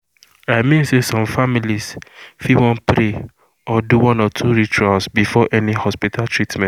i mean say some families fit wan pray or do one or two rituals before any hospital treatment.